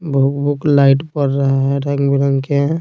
भुक-भुक light बड़ रहे हैं रंग-बिरंगे है।